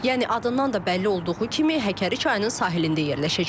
Yəni adından da bəlli olduğu kimi Həkəri çayının sahilində yerləşəcək.